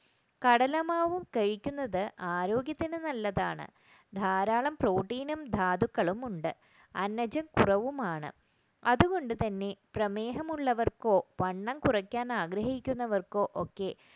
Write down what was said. കടലമാവ് കഴിക്കുന്നത് ആരോഗ്യത്തിന് നല്ലതാണ് ധാരാളം protein ധാതുക്കളും ഉണ്ട് അന്നജഠ കുറവും ആണ് അതുകൊണ്ടുതന്നെ പ്രമേഹമുള്ളവർക്ക് വണ്ണം കുറയ്ക്കാൻ ആഗ്രഹിക്കുന്നവർക്ക് ഒക്കെ